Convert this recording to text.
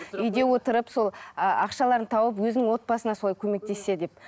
үйде отырып сол ақшаларын тауып өзінің отбасына солай көмектессе деп